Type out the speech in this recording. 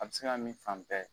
A bi se min fan bɛɛ